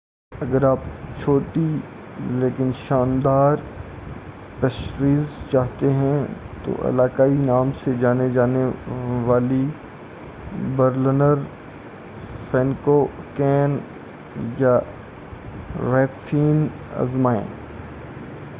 اگر آپ چھوٹی لیکن شاندار پیسٹریز چاہتے ہیں تو علاقائی نام سے جانی جانے والی برلنر فینکوکین یا ریپفین آزمائیں